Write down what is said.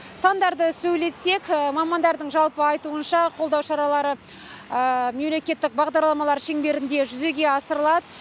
сандарды сөйлетсек мамандардың жалпы айтуынша қолдау шаралары мемлекеттік бағдарламалар шеңберінде жүзеге асырылады